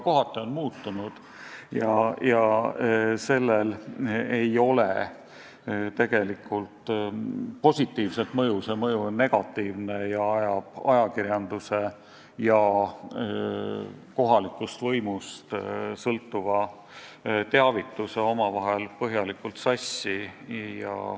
Kohati on juba muutunud ja sellel ei ole tegelikult positiivset mõju – mõju on negatiivne, kuna ajakirjandus ja kohalikust võimust sõltuv teavitus lähevad omavahel põhjalikult sassi.